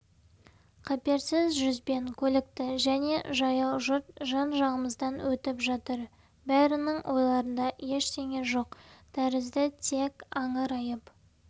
қаперсіз жүзбен көлікті және жаяу жұрт жан-жағымыздан өтіп жатыр бәрінің ойларында ештеңе жоқ тәрізді тек аңырайып